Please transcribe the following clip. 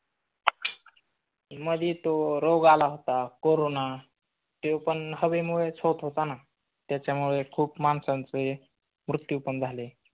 मध्ये तो रोग आला होता करोना तो पण हवेमुळेच होत होता ना त्याच्यामुळे खूप माणसांचे मृत्यू पण झाले.